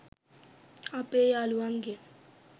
අපේ යාළුවන්ගෙන්.